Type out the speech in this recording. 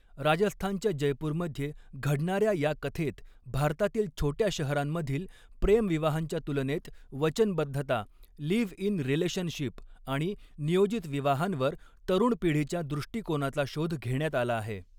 राजस्थानच्या जयपूरमध्ये घडणाऱ्या या कथेत भारतातील छोट्या शहरांमधील प्रेम विवाहांच्या तुलनेत वचनबद्धता, लिव्ह इन रिलेशनशिप आणि नियोजित विवाहांवर तरुण पिढीच्या दृष्टिकोनाचा शोध घेण्यात आला आहे.